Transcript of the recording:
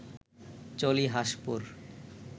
চলি হাঁসপুর